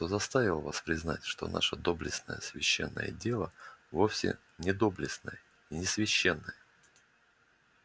кто заставил вас признать что наше доблестное священное дело вовсе не доблестное и не священное